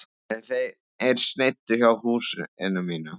En þeir sneiddu hjá húsinu mínu.